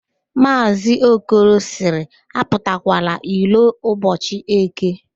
Maazị Okoro sịrị, apụtakwala iro ụbọchị​ Eke